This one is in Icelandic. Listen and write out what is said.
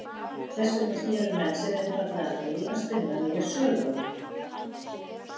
Þess vegna sneru menn sér einfaldlega að því að spinna nýja sögu.